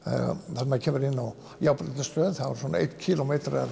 þegar maður kemur inn á járnbrautarstöð þá er svona einn kílómetri af